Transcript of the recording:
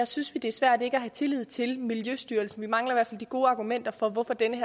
synes vi det er svært ikke at have tillid til miljøstyrelsen vi mangler i de gode argumenter for hvorfor den